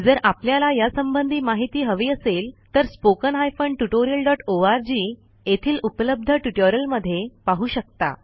जर आपल्याला यासंबंधी माहिती हवी असेल तर 1 येथील उपलब्ध ट्युटोरियलमध्ये पाहू शकता